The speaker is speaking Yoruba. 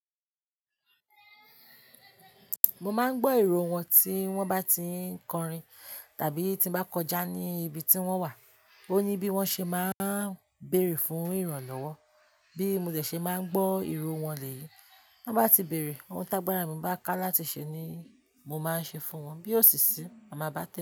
Mo máa ń gbọ́ ìró wọn tí wọ́n bá ti ń kọrin tàbí tí mo bá kọjá ní ibi tí wọ́n wà. Ó ní bí wọ́n ṣe máa ń béèrè fún ìrànlọ́wọ́ bí mo tẹ̀ ṣe máa ń gbọ́ ìró wọn lèyí. Tọ́n bá ti béèrè, ohun tágbàrá mi bá ká láti ṣe ni mo máa ṣe fún wọn. Bí ó sì sí, a máa bá te.